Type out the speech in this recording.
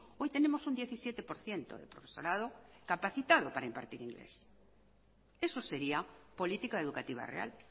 hoy tenemos un diecisiete por ciento de profesorado capacitado para impartir inglés eso sería política educativa real